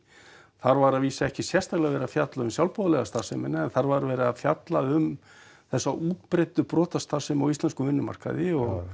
þar var að vísu ekki sérstaklega verið að fjalla um sjálfboðaliða starfsemi en þar var verið að fjalla um þessa útbreiddu brotastarfsemi á íslenskum vinnumarkaði og